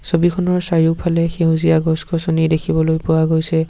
ছবিখনৰ চাৰিওফালে সেউজীয়া গছ-গছনি দেখিবলৈ পোৱা গৈছে।